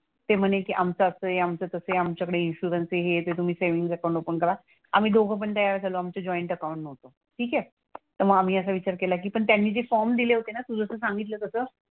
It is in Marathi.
ते म्हणे की आमचं असं आहे आमचं तसं आहे. आमच्याकडे इन्शुरन्सचं हे आहे तर तुम्ही सेव्हिन्ग अकाउंट ओपन करा. आम्ही दोघंपण तयार झालो. आमचं जॉईंट अकाउंट नव्हतं. ठीक आहे? तर आम्ही असा विचार केला की पण त्यांनी जे फॉर्म दिले होते ना तू जसं सांगितलं तसं,